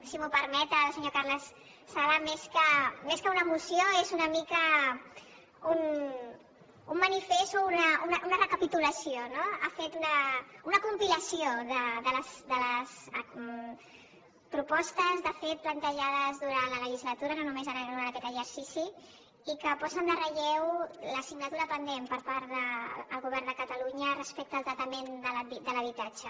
si m’ho permet el senyor carles sala més que una moció és una mica un manifest o una recapitulació no ha fet una compilació de les propostes de fet plantejades durant la legislatura no només en aquest exercici i que posen en relleu l’assignatura pendent per part del govern de catalunya respecte al tractament de l’habitatge